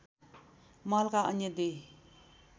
महलका अन्‍य दुई